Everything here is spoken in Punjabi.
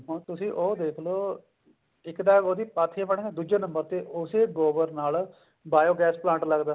ਹੁਣ ਤੁਸੀਂ ਉਹ ਦੇਖਲੋ ਇੱਕ ਤਾਂ ਉਹਦੀਆਂ ਪਾਥੀਆਂ ਬਣਦੀਆਂ ਦੂਜੇ number ਤੇ ਉਹਦੇ ਗੋਬਰ ਨਾਲ biogas plant ਲੱਗਦਾ